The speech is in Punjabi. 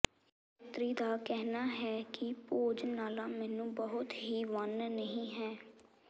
ਯਾਤਰੀ ਦਾ ਕਹਿਣਾ ਹੈ ਕਿ ਭੋਜਨਾਲਾ ਮੇਨੂ ਬਹੁਤ ਹੀ ਵੰਨ ਨਹੀ ਹੈ